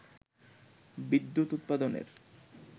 বিদ্যুৎ উৎপাদনের